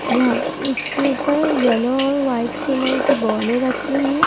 जहां उसके ऊपर येलो और वाइट कलर की बॉले रखी हैं।